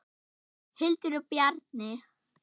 Hildur og Bjarni.